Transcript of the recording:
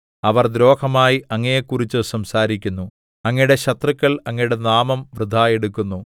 അവർ ദ്രോഹമായി അങ്ങയെക്കുറിച്ചു സംസാരിക്കുന്നു അങ്ങയുടെ ശത്രുക്കൾ അങ്ങയുടെ നാമം വൃഥാ എടുക്കുന്നു